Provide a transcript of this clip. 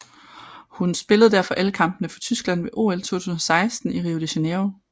Hun spillede derfor alle kampene for Tyskland ved OL 2016 i Rio de Janeiro